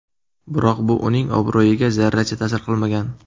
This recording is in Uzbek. Biroq bu uning obro‘yiga zarracha ta’sir qilmagan.